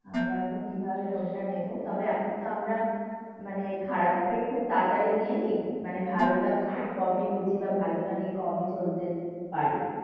আমরা এখন কিভাবে কোনটা নেব? তবে এখন তো আমরা মানে খারাপ তাই খুব তাড়াতাড়ি নিয়ে নি। মানে ভালোটা খুব কমই বুঝি বা ভালোটা নিয়ে খুব কমই চলতে পারি।